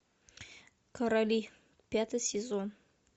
короли пятый сезон